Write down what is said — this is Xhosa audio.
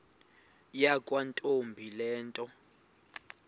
yakwantombi le nto